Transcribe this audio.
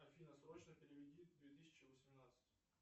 афина срочно переведи две тысячи восемнадцать